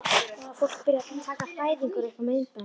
Nú var fólk byrjað að taka fæðingar upp á myndbönd.